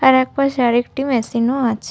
আরেক পাশে আর একটি মেশিন ও আছ--